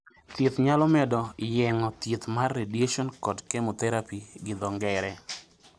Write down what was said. Thieth nyalo bedo yeng'o, thieth mar radiation kod chemotherapy gi dho ngere.